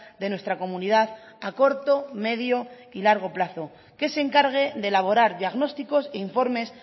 de nuestra comunidad a corto medio y largo plazo que se encargue de elaborar diagnósticos e informes